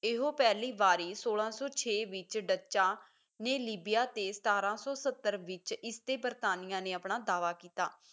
ਇਹੋ ਪਹਿਲੀ ਵਾਰੀ ਸੋਲਾਂ ਸੌ ਛੇ ਵਿੱਚ ਡੱਚਾਂ ਨੇ ਲੀਬੀਆ ਤੇ ਸਤਾਰਾਂ ਸੌ ਸੱਤਰ ਵਿੱਚ ਇਸ ਤੇ ਬਰਤਾਨੀਆਂ ਨੇ ਆਪਣਾ ਦਾਅਵਾ ਕੀਤਾ